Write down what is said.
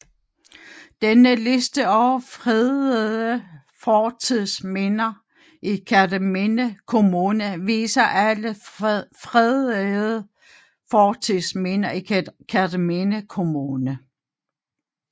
Denne liste over fredede fortidsminder i Kerteminde Kommune viser alle fredede fortidsminder i Kerteminde Kommune